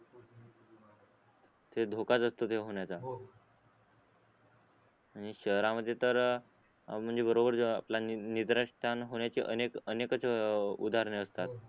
धोखाच असतो ते होण्याचा हो आणि शहरामध्ये तर आव म्हणजे बरोबर आपलं निद्रास्थान होण्याची अनेक अनेकच उदारणे असतात